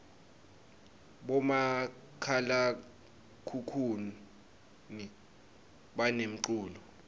bomakhalakhukhuni banemculo